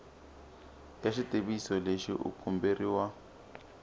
ka xitiviso lexi u komberiwa